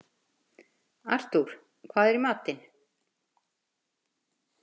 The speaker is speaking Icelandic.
Artúr, hvað er í matinn?